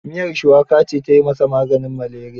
Miyar shuwaka ce ta yi masa maganin maleriya.